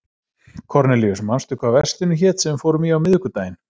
Kornelíus, manstu hvað verslunin hét sem við fórum í á miðvikudaginn?